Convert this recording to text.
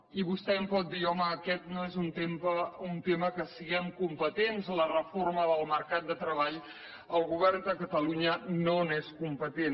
i vostè em pot dir home aquest no és un tema que en siguem competents de la reforma del mercat de treball el govern de catalunya no n’és competent